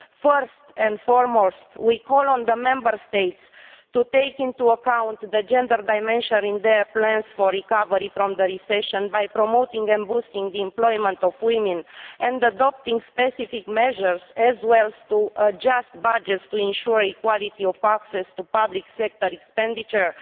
First and foremost, we call on the Member States to take into account the gender dimension in their plans for recovery from the recession by promoting and boosting the employment of women, and adopting specific measures as well as adjusting budgets to ensure equality of access to public sector expenditure,